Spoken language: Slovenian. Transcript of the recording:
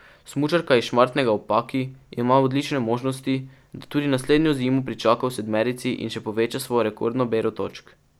Smučarka iz Šmartnega ob Paki ima odlične možnosti, da tudi naslednjo zimo pričaka v sedmerici in še poveča svojo rekordno bero točk.